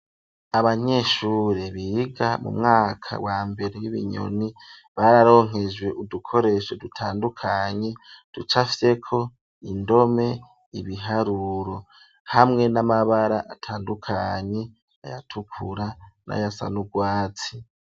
Abanyeshure biga mu mwaka wa mbere w'ibinyoni bararonkejwe udukoresho dutandukanye ducafyeko indome ibiharuro hamwe n'amabara atandukanye ayatukura n'ayasa n'urwatsi.